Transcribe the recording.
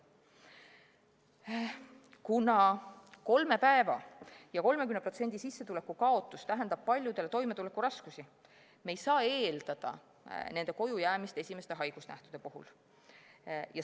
Kuna kolme päeva ja 30% sissetuleku kaotus tähendab paljudele toimetulekuraskusi, ei saa me eeldada nende kojujäämist esimeste haigusnähtude puhul.